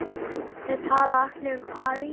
Þeir tala allir um París.